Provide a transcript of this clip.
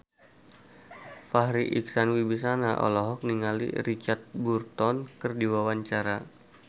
Farri Icksan Wibisana olohok ningali Richard Burton keur diwawancara